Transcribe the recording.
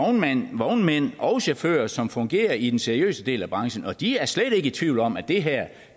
vognmænd og chauffører som fungerer i den seriøse del af branchen og de er slet ikke i tvivl om at det her